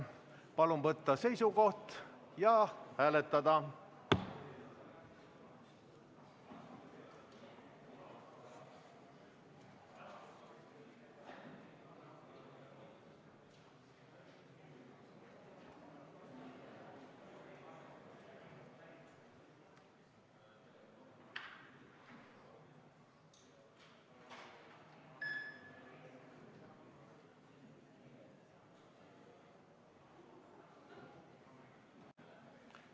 Palun võtta seisukoht ja hääletada!